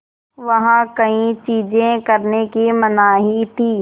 वहाँ कई चीज़ें करने की मनाही थी